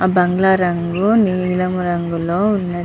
ఆ బాంగ్లా రంగు నీలము రంగు లో వున్నది.